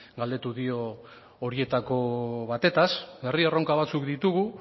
galdetu dio horietako batetaz herri erronka batzuk ditugu